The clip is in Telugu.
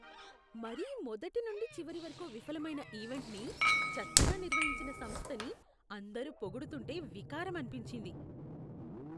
మరీ మొదటి నుండి చివరి వరకు విఫలమైన ఈవెంట్ని, చెత్తగా నిర్వహించిన సంస్థని అందరు పొగుడుతుంటే వికారం అనిపించింది.